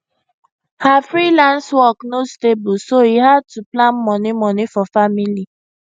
her freelance work no stable so e hard to plan money money for family